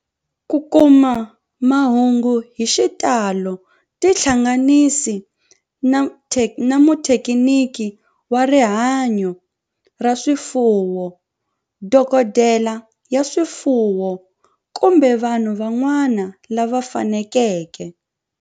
Ku kuma mahungu hi xitalo tihlanganisi na muthekiniki wa rihanyo ra swifuwo, dokodela ya swifuwo, kumbe vanhu van'wana lava fanelekeke